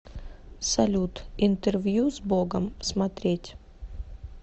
салют интервью с богом смотреть